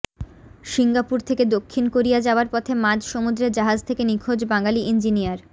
Singapore থেকে দক্ষিণ Korea যাওয়ার পথে মাঝ সমুদ্রে জাহাজ থেকে নিখোঁজ বাঙালি ইঞ্জিনিয়ার